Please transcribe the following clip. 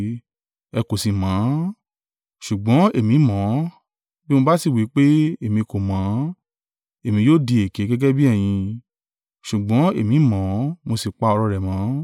Ẹ kò sì mọ̀ ọ́n, ṣùgbọ́n èmi mọ̀ ọ́n, bí mo bá sì wí pé, èmi kò mọ̀ ọ́n, èmi yóò di èké gẹ́gẹ́ bí ẹ̀yin, ṣùgbọ́n èmi mọ̀ ọ́n, mo sì pa ọ̀rọ̀ rẹ̀ mọ́.